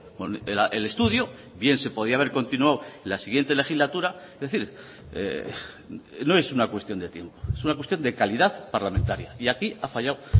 con el estudio bien se podía haber continuó la siguiente legislatura es decir no es una cuestión de tiempo es una cuestión de calidad parlamentaria y aquí ha fallado